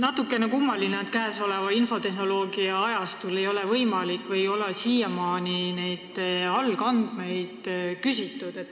Natukene kummaline, et käesoleval infotehnoloogia ajastul ei ole olnud võimalik siiamaani neid andmeid küsida.